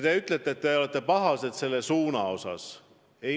Te ütlete, et teid pahandavad meie suunad.